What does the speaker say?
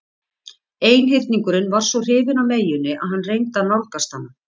Einhyrningurinn var svo hrifinn af meyjunni að hann reyndi að nálgast hana.